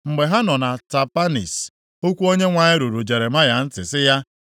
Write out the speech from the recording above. Mgbe ha nọ na Tapanhis, okwu Onyenwe anyị ruru Jeremaya ntị sị ya,